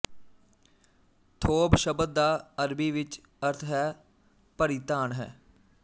ਥੋਬ ਸ਼ਬਦ ਦਾ ਅਰਬੀ ਵਿੱਚ ਅਰਥ ਹੈ ਪਰਿਧਾਨ ਹੈ